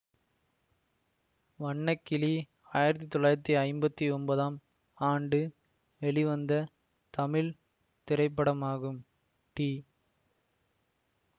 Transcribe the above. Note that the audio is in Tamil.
வண்ணக்கிளி ஆயிரத்தி தொள்ளாயிரத்தி ஐம்பத்தி ஒன்பதாம் ஆண்டு வெளிவந்த தமிழ் திரைப்படமாகும் டி